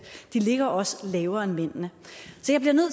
de ligger også lavere end mændene